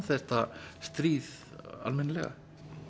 þetta stríð almennilega